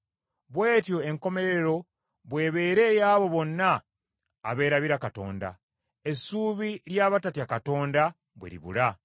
Bw’etyo enkomerero bw’ebeera ey’abo bonna abeerabira Katonda, essuubi ly’abatatya Katonda bwe libula.